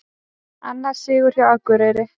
Annar sigur hjá Akureyri